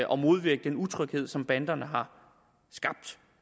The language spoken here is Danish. og modvirke den utryghed som banderne har skabt